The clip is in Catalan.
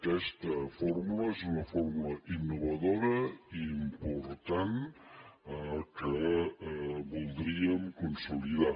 aquesta fórmula és una fórmula innovadora i important que voldríem consolidar